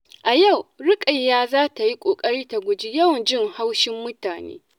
A yau, Ruqayyah za ta yi ƙoƙari ta guji yawan jin haushin mutane.